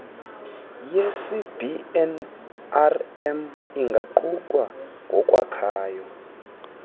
yecbnrm ingaqukwa ngokwakhayo